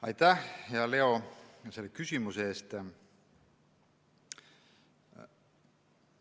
Aitäh, hea Leo, selle küsimuse eest!